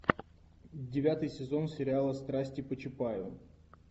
девятый сезон сериала страсти по чапаеву